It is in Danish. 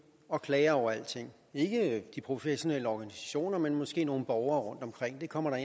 og klager over alting ikke de professionelle organisationer men måske nogle borgere rundtomkring det kommer der